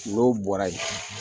N'o bɔra yen